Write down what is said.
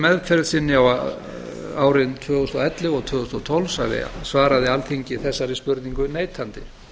meðferð sinni árin tvö þúsund og ellefu og tvö þúsund og tólf svaraði alþingi þessari spurningu neitandi